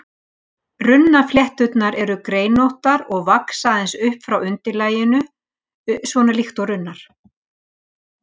Runnaflétturnar eru greinóttar og vaxa aðeins upp frá undirlaginu, svona líkt og runnar.